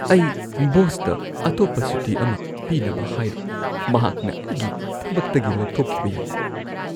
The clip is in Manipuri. ꯑꯩ ꯕꯣꯁꯇ ꯑꯇꯣꯞꯄ ꯁꯨꯇꯤ ꯑꯃ ꯄꯤꯅꯕ ꯍꯥꯏꯔꯣꯏ꯫ ꯃꯍꯥꯛꯅ ꯑꯩꯒꯤ ꯊꯕꯛꯇꯒꯤ ꯂꯧꯊꯣꯛꯈꯤꯕ ꯌꯥꯏ꯫